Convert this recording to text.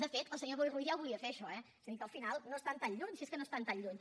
de fet el senyor boi ruiz ja ho volia fer això eh és a dir que al final no estan tan lluny si és que no estan tan lluny